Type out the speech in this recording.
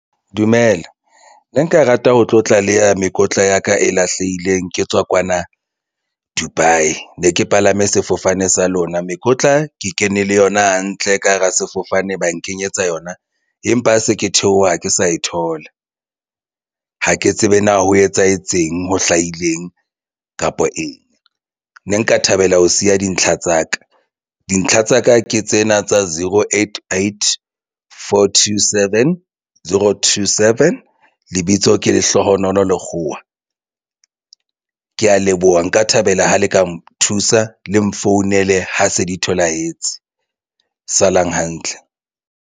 Dumela, ne nka rata ho tlo tlaleha mekotla ya ka e lahlehileng ke tswa kwana Dubai ne ke palame sefofane sa lona mekotla ke kene le yona hantle ka hara sefofane. Ba nkenyetsa yona empa ha se ke theoha ha ke sa e thola ha ke tsebe na ho etsahetse eng ho hlahileng kapa eng ne nka thabela ho siya dintlha tsa ka dintlha tsa ka Ke tsena tsa zero eight I_D for two, Seven, zero, two, seven. Lebitso ke Lehlohonolo Lekgowa. Ke ya leboha nka thabela ha le ka nthusa le mfounele. Ha se di tholahetse salang hantle.